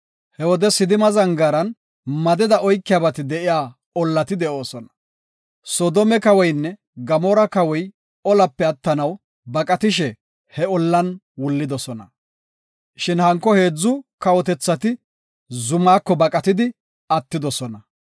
He wode Sidima zangaaran madeda oykiyabati de7iya ollati de7oosona. Soodome kawoynne Gamoora kawoti olape attanaw baqatishe he ollan wullidosona. Shin hanko heedzu kawotethati zumako baqatidi attidosona.